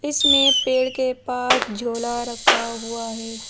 इसमें पेड़ के पास झोला रखा हुआ है।